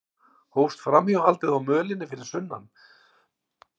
Hófst framhjáhaldið á mölinni fyrir sunnan